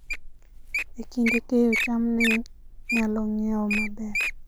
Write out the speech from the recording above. E kinde keyo, cham ne nyalo ng'iewo maber